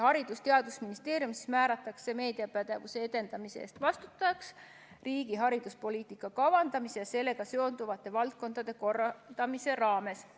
Haridus- ja Teadusministeerium määratakse meediapädevuse edendamise eest vastutajaks riigi hariduspoliitika kavandamise ja sellega seonduvate valdkondade korraldamise raames.